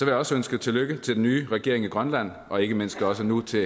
jeg også ønske tillykke til den nye regering i grønland og ikke mindst også nu til